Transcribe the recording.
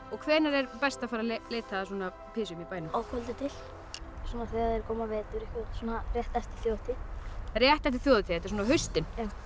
hvenær er best að fara að leita að pysjum í bænum að kvöldi til þegar er kominn vetur rétt eftir þjóðhátíð rétt eftir þjóðhátíð þetta er svona á haustin